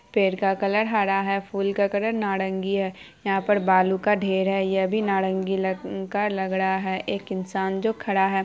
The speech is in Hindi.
पेड़ का कलर हरा है फूल का कलर नारंगी है यहां पे बालू का ढेर है यह भी नारंगी का लग रहा है एक इंसान जो खड़ा है।